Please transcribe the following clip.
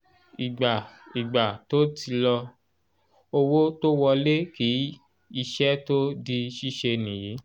ìgbà ìgbà tó ti lọ owó tó wọlé kí iṣẹ́ tó di síse nìyí